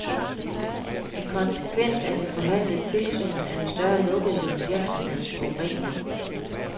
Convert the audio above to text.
EN konsekvens af det forhandlende tilsyn er en større lukkethed om virksomhedens forurening.